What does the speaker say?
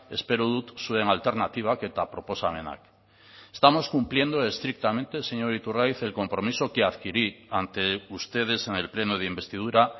espero dut zuen alternatibak eta proposamenak estamos cumpliendo estrictamente señor iturgaiz el compromiso que adquirí ante ustedes en el pleno de investidura